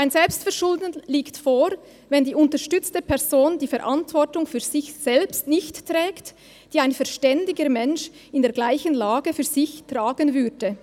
Ein Selbstverschulden liegt vor, wenn die unterstützte Person die Verantwortung für sich selbst nicht trägt, die ein verständiger Mensch in der gleichen Lage für sich tragen würde.